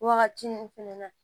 Wagati min fɛnɛ na